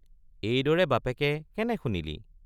এইদৰে বাপেকে কেনে শুনিলি?